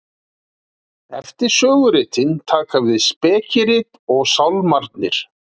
Eftir söguritin taka við spekirit og Sálmarnir.